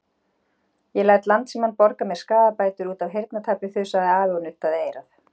Ég læt Landsímann borga mér skaðabætur út af heyrnartapi þusaði afi og nuddaði eyrað.